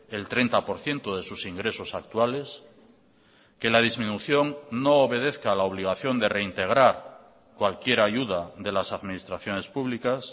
el treinta por ciento de sus ingresos actuales que la disminución no obedezca la obligación de reintegrar cualquier ayuda de las administraciones públicas